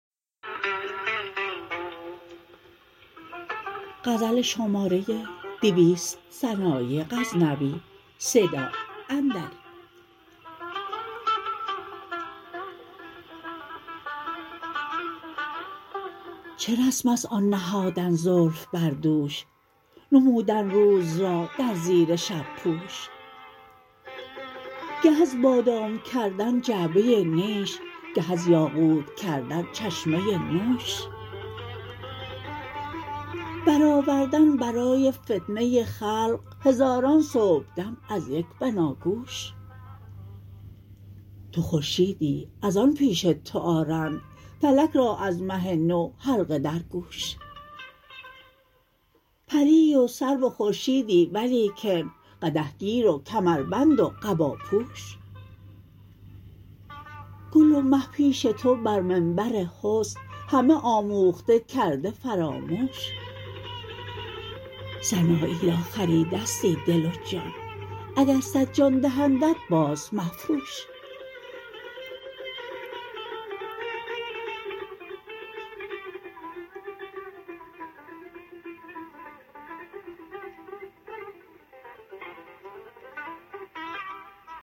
چه رسم ست آن نهادن زلف بر دوش نمودن روز را در زیر شب پوش گه از بادام کردن جعبه نیش گه از یاقوت کردن چشمه نوش برآوردن برای فتنه خلق هزاران صبحدم از یک بناگوش تو خورشیدی از آن پیش تو آرند فلک را از مه نو حلقه در گوش پری و سرو و خورشیدی ولیکن قدح گیر و کمربند و قباپوش گل و مه پیش تو بر منبر حسن همه آموخته کرده فراموش سنایی را خریدستی دل و جان اگر صد جان دهندت باز مفروش